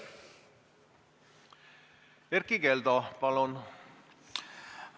Erkki Keldo, palun!